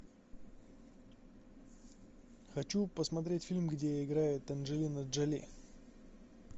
хочу посмотреть фильм где играет анджелина джоли